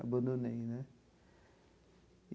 Abandonei, né?